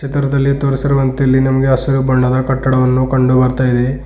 ಚಿತ್ರದಲ್ಲಿ ತೋರಿಸಿರುವಂತೆ ಇಲ್ಲಿ ನಮಗೆ ಹಸಿರು ಬಣ್ಣದ ಕಟ್ಟಡವನ್ನು ಕಂಡು ಬರ್ತಾ ಇದೆ.